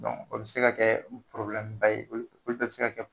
O bɛ se ka kɛ ye olu bɛɛ bɛ se ka